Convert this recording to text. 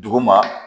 Duguma